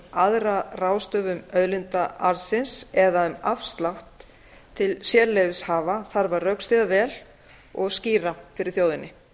aðra ráðstöfun auðlindaarðsins eða um afslátt til sérleyfishafa þarf að rökstyðja vel og skýra fyrir þjóðinni